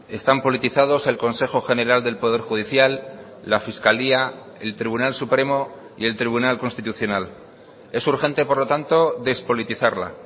están politizados el consejo general del poder judicial la fiscalía el tribunal supremo y el tribunal constitucional es urgente por lo tanto despolitizarla